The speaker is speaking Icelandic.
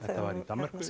var í Danmörku